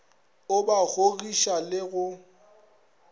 o ba kgogiša le go